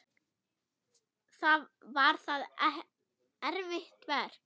Var það erfitt verk?